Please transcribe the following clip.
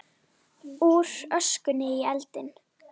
Úr öskunni í eldinn